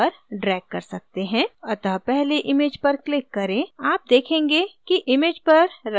अतः पहले image पर click करें आप देखेंगे कि image पर रंगित handles दिखतें है